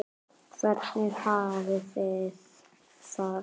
Hvernig hafið þið það?